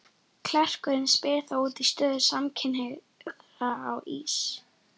Klerkurinn spyr þá út í stöðu samkynhneigðra á Ís